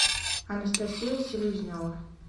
анастасия селезнева